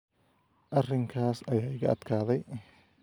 Arrinkaas ayaa iga adkaaday